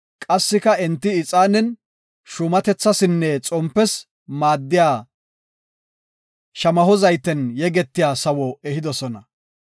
qassika enti ixaanen, shuumatethasinne xompes maaddiya shamaho zayten yegetiya sawo ehidosona.